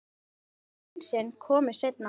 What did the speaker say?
Hænsnin komu seinna.